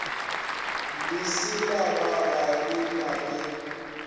leselaga ga le na le